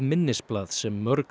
minnisblað sem mörg